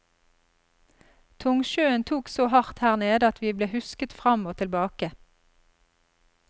Tungsjøen tok så hardt her nede at vi ble husket fram og tilbake.